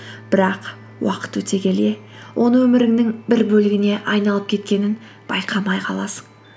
бірақ уақыт өте келе оны өміріңнің бір бөлігіне айналып кеткенін байқамай қаласың